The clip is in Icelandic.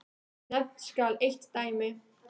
Nefnt skal eitt dæmi.